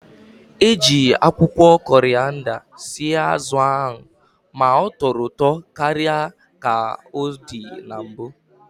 Eji akwụkwọ korịanda sie azụ ahụ ma tọrọ ụtọ karịa ka ọ dị na mbụ